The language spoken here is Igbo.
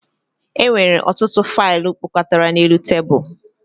E nwere ọtụtụ faịlụ kpọkọtara n'elu tebụl